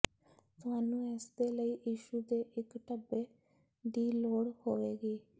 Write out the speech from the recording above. ਤੁਹਾਨੂੰ ਇਸ ਦੇ ਲਈ ਟਿਸ਼ੂ ਦੇ ਇੱਕ ਡੱਬੇ ਦੀ ਲੋੜ ਹੋਵੇਗੀ